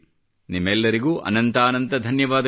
ನಿಮಗೆಲ್ಲರಿಗೂ ಅನಂತಾನಂತ ಧನ್ಯವಾದಗಳು